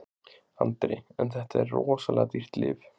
Andri: En þetta er rosalega dýrt þetta lyf?